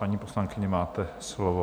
Paní poslankyně, máte slovo.